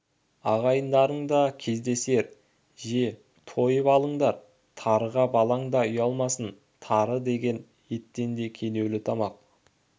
ағайындарың да кездесер же же тойып алыңдар тарыға балаң да ұялмасын тары деген еттен де кенеулі тамақ